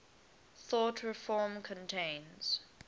thought reform contains